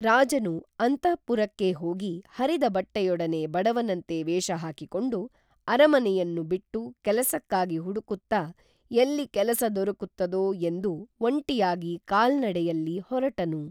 ರಾಜನು ಅಂತಃಪುರಕ್ಕೇ ಹೋಗಿ ಹರಿದ ಬಟ್ಟೆಯೊಡನೆ ಬಡವನಂತೆ ವೇಷ ಹಾಕಿಕೊಂಡು ಅರಮನೆಯನ್ನು ಬಿಟ್ಟು ಕೇಲಸಕ್ಕಾಗಿ ಹುಡುಕುತ್ತಾ ಎಲ್ಲಿ ಕೆಲಸ ದೊರಕುತ್ತದೋ ಎಂದು ಒಂಟಿಯಾಗಿ ಕಾಲ್ನಡೆಯಲ್ಲಿ ಹೊರಟನು